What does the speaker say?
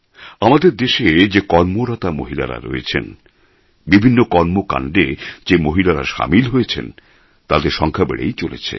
আমাদের দেশে যে কর্মরতা মহিলারা রয়েছেন বিভিন্ন কর্মকাণ্ডে যে মহিলারা সামিল হয়েছেন তাঁদের সংখ্যা বেড়েই চলেছে